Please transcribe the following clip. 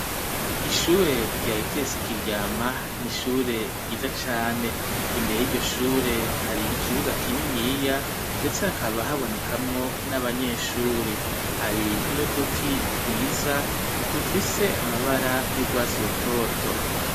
Ishure ryaye itesi Kiryama n'ishure ryiza cane imbere yiryo shure hari ikibuga kininiya ndetse hakaba habonekamwo n'abanyeshuri hari n'uduti twiza tufise amabara y'urwatsi rutoto.